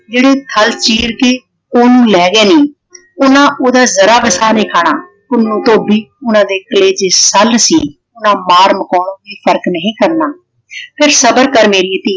ਜਿਹੜੇ ਥਲ ਚੀਰ ਕੇ ਓਹਨੂੰ ਲੈ ਗਏ ਨੇ। ਉਹਨਾਂ ਉਹਦਾ ਜਰਾ ਭੀ ਸਾਹ ਨਹੀਂ ਖਾਣਾ। ਪੁੰਨੂੰ ਧੋਬੀ ਉਹਨਾਂ ਦੇ ਕਲੇਜੇ ਸੱਲ ਸੀ। ਉਹਨਾਂ ਮਾਰ ਮਕਾਉਣ ਵੀ ਫਰਕ ਨਹੀਂ ਕਰਨਾ। ਸਿਰਫ ਸਬਰ ਕਰ ਮੇਰੀਏ ਧੀਏ